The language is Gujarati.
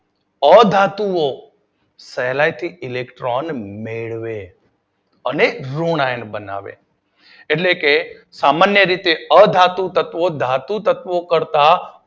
અધાતુ ઑ સહેલાઇથી ઇલેક્ટ્રોન મેળવે અને ઋણ આયન બનાવે. એટલે કે સામાન્ય રીતે અધાતુ તત્વો ધાતુ તત્વો કરતાં